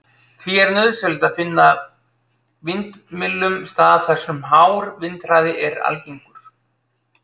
Því er nauðsynlegt að finna vindmyllum stað þar sem hár vindhraði er algengur.